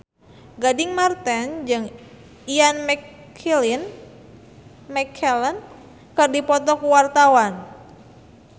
Gading Marten jeung Ian McKellen keur dipoto ku wartawan